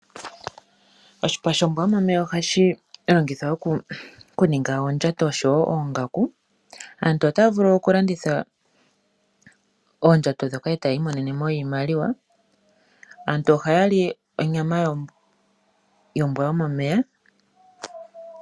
Oshipa shombwa yomomeya ohashi longithwa okuninga oondjato oshowo oongaku. Aantu otaya vulu okulanditha oondjato ndhoka e taya imonene iimaliwa. Aantu ohaya li onyama yombwa yomomeya.